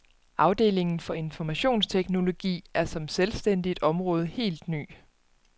Afdelingen for informationsteknologi er som selvstændigt område helt ny.